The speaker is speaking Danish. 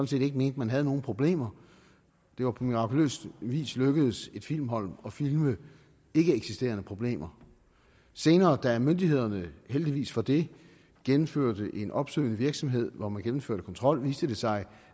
set ikke mente man havde nogen problemer det var på mirakuløs vis lykkedes et filmhold at filme ikkeeksisterende problemer senere da myndighederne heldigvis for det gennemførte en opsøgende virksomhed hvor man gennemførte kontrol viste det sig